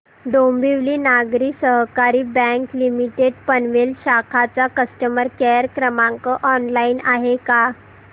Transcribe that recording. Dombivli Nagari Sahakari bank limited Panvel शाखा चा customer care क्रमांक ऑनलाइन आहे का